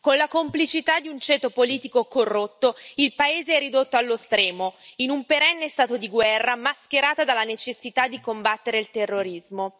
Con la complicità di un ceto politico corrotto, il paese è ridotto allo stremo, in un perenne stato di guerra mascherata dalla necessità di combattere il terrorismo.